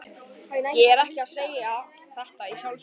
Ég er ekki að segja þetta í sjálfsvörn.